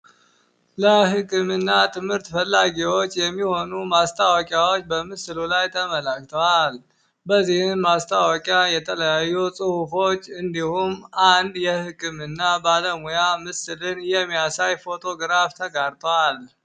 ላይክምና ትምህርት ፈላጊዎች የሚሆኑ ማስታወቂያዎች በምስሉ ላይ ተመላክቷል በዚህም ማስታወቂያ የተለያዩ ጽሁፎች እንዲሁም አንዴ ህክምና ባለሙያን የሚያሳይ ፎቶ ተቀምጧል።